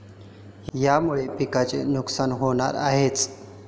यामुळे पिकांचे नुकसान होणार आहेच.